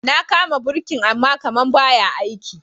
Na kama birkin ama kaman ba ya aiki.